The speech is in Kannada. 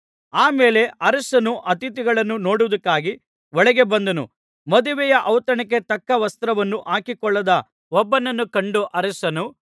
ಆಮೇಲೆ ಅರಸನು ಅತಿಥಿಗಳನ್ನು ನೋಡುವುದಕ್ಕಾಗಿ ಒಳಗೆ ಬಂದನು ಮದುವೆಯ ಔತಣಕ್ಕೆ ತಕ್ಕ ವಸ್ತ್ರವನ್ನು ಹಾಕಿಕೊಳ್ಳದ ಒಬ್ಬನನ್ನು ಕಂಡು ಅರಸನು